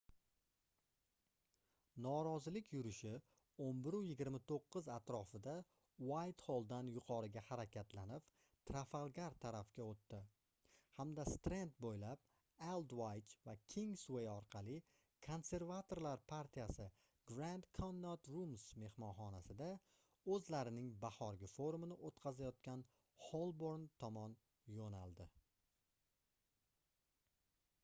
norozilik yurishi 11:29 atrofida uaytxolldan yuqoriga harakatlanib trafalgar tarafga oʻtdi hamda strand boʻylab aldvaych va kingsvay orqali konservatorlar partiyasi grand connaught rooms mehmonxonasida oʻzlarining bahorgi forumini oʻtkazayotgan xolborn tomon yoʻnaldi